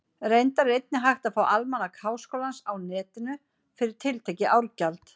Reyndar er einnig hægt að fá Almanak Háskólans á Netinu, fyrir tiltekið árgjald.